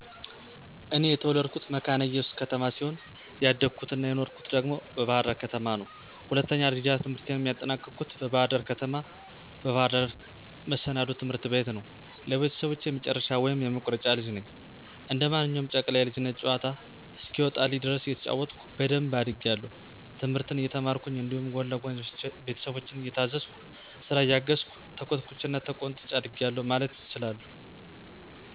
እኔ የተወለድኩት መካነ እየሱስ ከተማ ሲሆን ያደኩት አና የኖርሁት ደግሞ በባህር ዳር ከተማ ነው። ሁለተኛ ደረጃ ትምህርቴንም ያጠናቀኩት በባህር ደር ከተማ፣ በባህር ዳር መሰናዶ ትምህርት ቤት ነው። ለቤተሰቦቸ የመጨረሻ ወይም የመቁረጫ ልጅ ነኝ። እንደ ማንኛውም ጨቅላ የልጅነት ጨዋታ እስከሚወጣልኝ ድረስ እየተጫወትኩኝ በደንብ አድጌአለሁ፤ ትምህርትን እየተማርኩኝ እንዲሁም ጎን ለጎን ቤተሰቦቸን እየታዘዝኩ፥ ስራ እያገዝሁ፣ ተኮትኩቸና ተቆንጥጨ አድጌአለሁ ማለት እችላለሁ።